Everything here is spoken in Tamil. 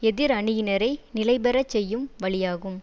எதிர் அணியினரை நிலைபெற செய்யும் வழியாகும்